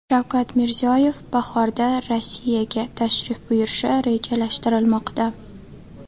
Shavkat Mirziyoyev bahorda Rossiyaga tashrif buyurishi rejalashtirilmoqda.